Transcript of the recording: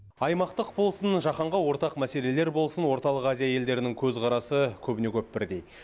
аймақтық болсын жаһанға ортақ мәселелер болсын орталық азия елдерінің көзқарасы көбіне көп бірдей